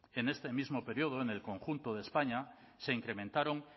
en este mismo periodo en el conjunto de españa se incrementaron